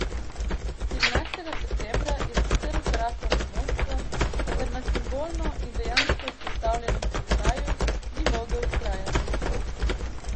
Štirinajstega septembra je sicer vkorakal v Moskvo, vendar na simbolno in dejansko izpostavljenem položaju ni mogel vztrajati.